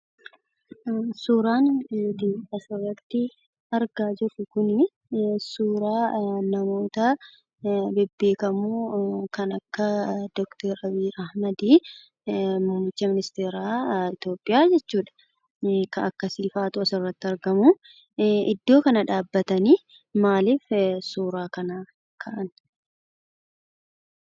Suuraan nuti asirratti argaa jirru kunii suuraa namootaa bebbeekamoo kan akka; dr abiyyi ahmed muummicha ministeeraa itoopiyaa jechuudha ka akkasiifaatu asirratti argamuu iddoo kana dhaabbatanii maaliif suuraa kanaa ka'an?